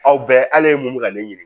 Aw bɛɛ ala ye mun bɛ ka ne ɲini